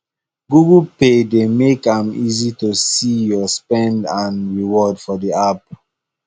google pay dey make am easy to see your spend and reward for the app